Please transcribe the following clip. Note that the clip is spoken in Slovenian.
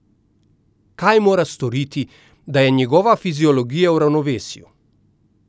Kaj mora storiti, da je njegova fiziologija v ravnovesju?